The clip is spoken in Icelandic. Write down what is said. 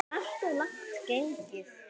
Alltof langt gengið.